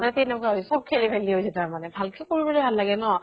সেনেকুৱা হৈছে । খুব খেলি মেলি হৈছে তাৰমানে। ভালকে কৰিবলৈ ভাল লাগে ন ?